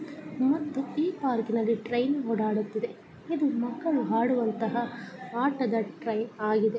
ಇವತ್ತು ಈ ಪಾರ್ಕಿನಲ್ಲಿ ಟ್ರೈನ್ ಓಡಾಡುತ್ತಿದೆ ಇದು ಮಕ್ಕಳು ಆಡುವಂತಹ ಆಟದ ಟ್ರೈನ್ ಆಗಿದೆ.